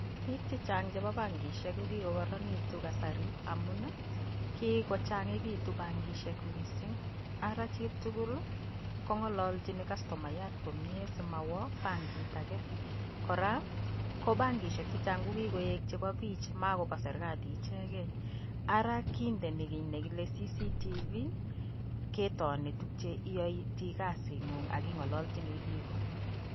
Bik chechang chebo bankishek ko kikokaraninitu kasari amun kikochangikitu bankishek missing, Ara chi tugul kokalaljin customaiyat komie simowo bankit age. Kora ko bankishek chechang ko kikoek chebo bich makobo chebo serikali ichekei. Ara kindeni kiy nekile ccctv ketoni yeitoi kazingu ak ingoloshini bikko.